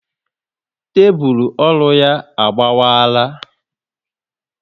Tébulu ọrụ ya agbawala